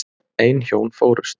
Ein hjón fórust.